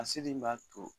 A seli in b'a to